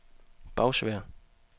Bagsværd